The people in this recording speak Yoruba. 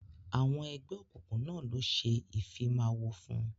Àwọn ẹgbẹ́ òkùnkùn náà ló ṣe Ìfimáwo fún